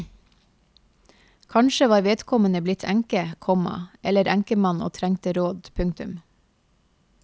Kanskje var vedkommende blitt enke, komma eller enkemann og trengte råd. punktum